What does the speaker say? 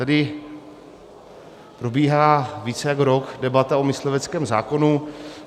Tady probíhá více než rok debata o mysliveckém zákonu.